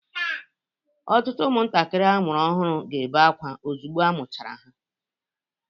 Ọtụtụ ụmụntakịrị amụrụ ọhụrụ ga-ebe akwa ozugbo a mụchara ha.